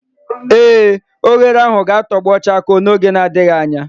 ee, oghere ahu ga-atogbo chakoo n'oge adighi anya